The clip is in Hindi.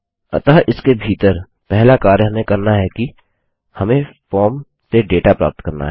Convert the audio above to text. अतः इसके भीतर पहला कार्य हमें करना है कि हमें फॉर्म से डेटा प्राप्त करना है